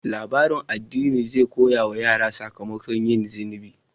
Labarin addini zai koya wa yara sakamakon yin zunubi.